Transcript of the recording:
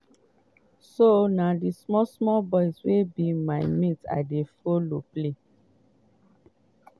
so na di small small boys wey be my mate i dey follow play.